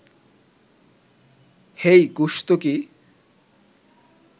হেই গোসত কি